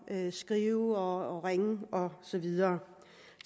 at skrive og ringe og så videre